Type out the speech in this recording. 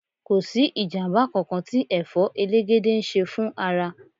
Kò sí ìjàmbá kankan tí Ẹ̀fọ́ elegede ń ṣe fún ara.